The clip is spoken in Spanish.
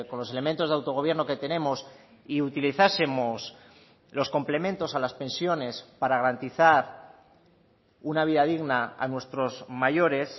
los elementos de autogobierno que tenemos y utilizásemos los complementos a las pensiones para garantizar una vida digna a nuestros mayores